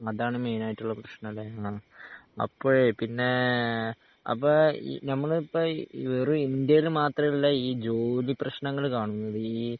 അതാണ് മെയ്നായിട്ടുള്ള പ്രശനല്ലേ ആഹ് അപ്പഴേ പിന്നെ അപ്പം ഈ ഞമ്മള് ഇപ്പം ഇ വെറുഇന്ത്യയില് മാത്രയുള്ള ഈ ജോലിപ്രശനങ്ങള് കാണുന്നതീ